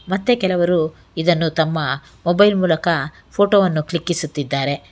ಮತ್ತೆ ಕೆಲವರು ಇದನ್ನು ತಮ್ಮ ಮೊಬೈಲ್ ಮೂಲಕ ಫೋಟೋ ವನ್ನು ಕ್ಲಿಕಿಸುತ್ತಿದ್ದಾರೆ.